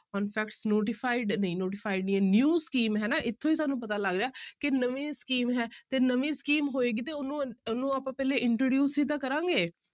notified ਨਹੀਂ notified ਨੀ ਹੈ new scheme ਹੈ ਨਾ ਇੱਥੋਂ ਹੀ ਸਾਨੂੰ ਪਤਾ ਲੱਗਦਾ ਹੈ ਕਿ ਨਵੀਂ scheme ਹੈ ਤੇ ਨਵੀਂ scheme ਹੋਏਗੀ ਤੇ ਉਹਨੂੰ, ਉਹਨੂੰ ਆਪਾਂ ਪਹਿਲੇ introduce ਹੀ ਤਾਂ ਕਰਾਂਗੇ।